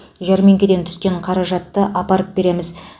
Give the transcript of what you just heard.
жәрмеңкеден түскен қаражатты апарып береміз